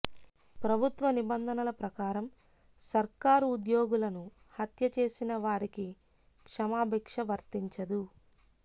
ప్రభుత్వ నిబంధనల ప్రకారం సర్కారు ఉద్యోగులను హత్య చేసిన వారి కి క్షమాబిక్ష వర్తించదు